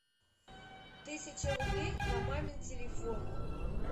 тысяча рублей на мамин телефон